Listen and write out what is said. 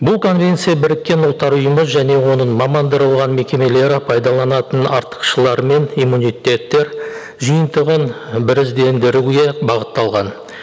бұл конвенция біріккен ұлттар ұйымы және оның мекемелері пайдаланатын артықшылары мен иммунитеттер жиынтығын біріздендіруге бағытталған